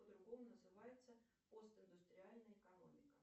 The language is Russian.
по другому называется постиндустриальная экономика